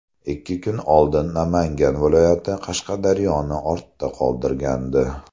Ikki kun oldin Namangan viloyati Qashqadaryoni ortda qoldirgandi.